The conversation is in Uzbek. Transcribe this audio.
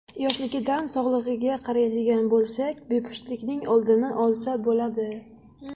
Yoshligidan sog‘lig‘iga qaraydigan bo‘lsak, bepushtlikning oldini olsa bo‘ladi.